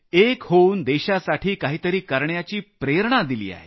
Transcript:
एक होऊन देशासाठी काही तरी करण्याची प्रेरणा दिली आहे